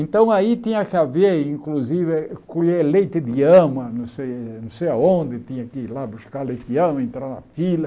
Então aí tinha que haver, inclusive, colher leite de ama, não sei não sei aonde, tinha que ir lá buscar leite de ama, entrar na fila.